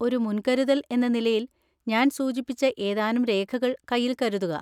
ഒരു മുൻകരുതൽ എന്ന നിലയിൽ, ഞാൻ സൂചിപ്പിച്ച ഏതാനും രേഖകൾ കൈയിൽ കരുതുക.